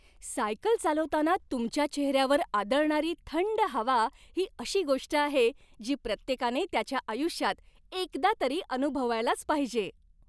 Cycle चालवताना तुमच्या चेहऱ्यावर आदळणारी थंड हवा ही अशी गोष्ट आहे जी प्रत्येकाने त्याच्या आयुष्यात एकदा तरी अनुभवायलाच पाहिजे.